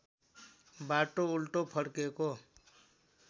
बाटो उल्टो फर्केको